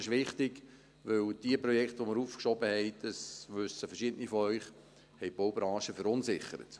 Das ist wichtig, denn die Projekte, die wir aufgeschoben haben – das wissen verschiedene von Ihnen –, haben die Baubranche verunsichert.